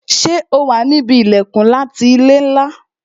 Ṣé o wà níbi ilẹkun ńlá ti ilé ńlá